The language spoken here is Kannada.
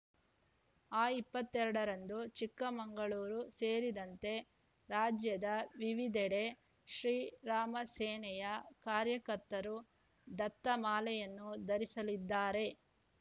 ಅಕ್ಟೋಬರ್ ಇಪ್ಪತ್ತೆರಡರಂದು ಚಿಕ್ಕಮಗಳೂರು ಸೇರಿದಂತೆ ರಾಜ್ಯದ ವಿವಿಧೆಡೆ ಶ್ರೀರಾಮ ಸೇನೆಯ ಕಾರ್ಯಕರ್ತರು ದತ್ತಮಾಲೆಯನ್ನು ಧರಿಸಲಿದ್ದಾರೆ